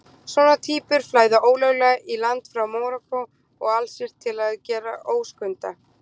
Svona týpur flæða ólöglega í land frá Marokkó og Alsír til að gera óskunda.